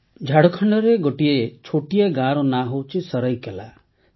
ଝାଡ଼ଖଣ୍ଡରେ ଗୋଟିଏ ଛୋଟିଆ ଗାଁର ନାଁ ହେଉଛି ସରାଇକେଲା